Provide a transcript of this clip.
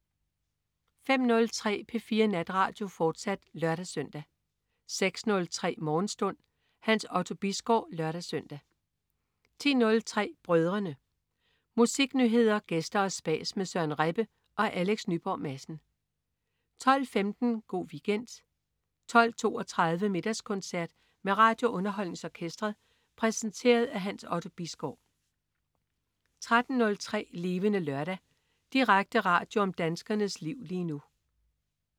05.03 P4 Natradio, fortsat (lør-søn) 06.03 Morgenstund. Hans Otto Bisgaard (lør-søn) 10.03 Brødrene. Musiknyheder, gæster og spas med Søren Rebbe og Alex Nyborg Madsen 12.15 Go' Weekend 12.32 Middagskoncert med RadioUnderholdningsOrkestret. Præsenteret af Hans Otto Bisgaard 13.03 Levende Lørdag. Direkte radio om danskernes liv lige nu